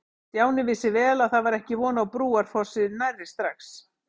Stjáni vissi vel að það var ekki von á Brúarfossi nærri strax.